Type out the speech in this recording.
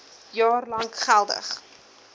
jaar lank geldig